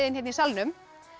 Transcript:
hérna í salnum